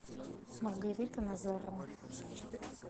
маргарита назарова